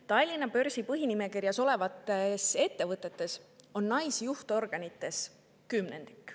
Tallinna börsi põhinimekirjas olevate ettevõtete juhtorganites on naisi kümnendik.